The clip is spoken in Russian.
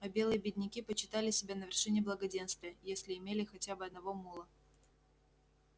а белые бедняки почитали себя на вершине благоденствия если имели хотя бы одного мула